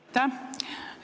Aitäh!